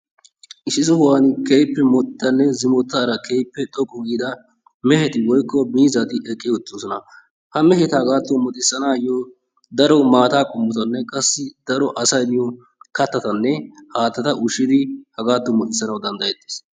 Issi sohan keehippe modhidane zimettaara keehippe toqqu giida meheti woykko miizati eqqi uttidosona ha meheta hagaadan modhisanaayoo daro maataa qommotanne qassi daro asaayoo kattatanne haattata ushshidi hagaadan modhisanaayoo danddayettes.